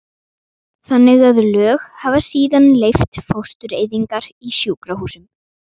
þannig að lög hafa síðan leyft fóstureyðingar í sjúkrahúsum.